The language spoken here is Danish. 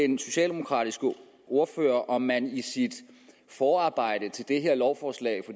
den socialdemokratiske ordfører om man i sit forarbejde til det her lovforslag